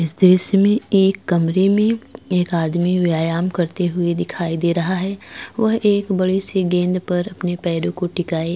इस दृश्य में एक कमरे में एक आदमी व्यायाम करते हुए दिखाई दे रहा है वह एक बड़ी सी गेंद पर अपने पैरों को टिकाई।